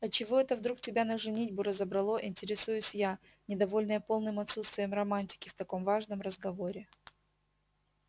а чего это вдруг тебя на женитьбу разобрало интересуюсь я недовольная полным отсутствием романтики в таком важном разговоре